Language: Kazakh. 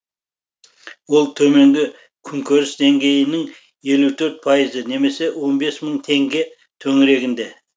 ол төменгі күнкөріс деңгейінің елу төрт пайызы немесе он бес мың теңге төңірегінде